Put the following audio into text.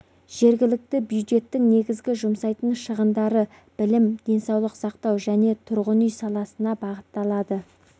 жергілікті бюджеттің негізгі жұмсайтын шығындары білім денсаулық сақтау және тұрғын үй саласына бағытталады